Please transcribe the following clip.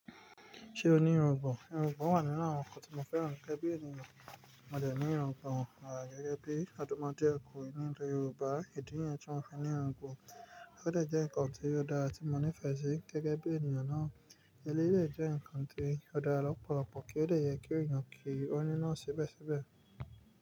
Ṣé o ní irungbọ̀n? Irungbọ̀n wà nínú àwọn nǹkan tí mo fẹ́ràn gẹ́gẹ́ bí ènìyàn. Mo dẹ̀ ní irungbọ̀n wà gẹ́gẹ́ bí odomode okunrin nílẹ̀ Yorùbá. Ìdí yẹn tí mo fẹ́ ní irungbọ̀n, ó dẹ̀ jẹ́ nǹkan tí ó dára tí mo nífẹ̀ẹ́ sí gẹ́gẹ́ bí ènìyàn náà. Tẹ́lẹ̀ lè jẹ́ ǹkan tí ó dára lọ́pọ̀lọpọ̀ kí ó dè yẹ kí èèyàn kí ọ́ ni naa sibesibe.